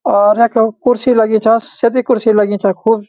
और रख्यो कुर्सी लगीं छा सजी कुर्सी लगीं छा खूब।